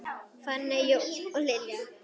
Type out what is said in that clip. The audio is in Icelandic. Fanney, Jón og Lilja.